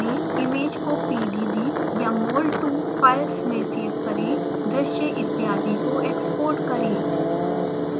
image को pdb या mol2 files में सेव करें दृश्य इत्यादि को export करें